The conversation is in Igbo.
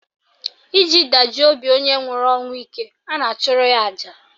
Iji dajuo obi onye nwụrụ ọnwụ ike, a na-achụrụ ya aja